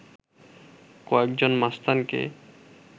কয়েকজন মাস্তানকে